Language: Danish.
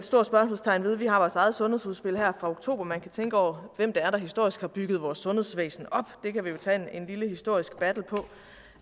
spørgsmålstegn ved vi har vores eget sundhedsudspil her fra oktober man kan tænke over hvem det er der historisk har bygget vores sundhedsvæsen op det kan vi jo tage et lille historisk battle på